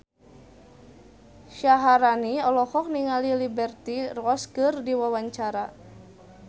Syaharani olohok ningali Liberty Ross keur diwawancara